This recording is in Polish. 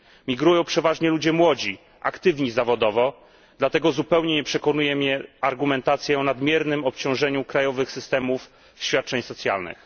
Migrują przeważnie ludzie młodzi, aktywni zawodowo, dlatego zupełnie nie przekonuje mnie argumentacja o nadmiernym obciążeniu krajowych systemów świadczeń socjalnych.